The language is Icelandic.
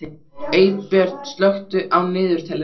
Eybjört, slökktu á niðurteljaranum.